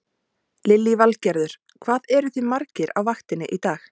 Lillý Valgerður: Hvað eruð þið margir á vaktinni í dag?